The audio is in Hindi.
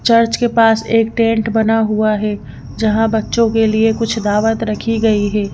चर्च के पास एक टेंट बना हुआ है जहां बच्चों के लिए कुछ दावत रखी गई है।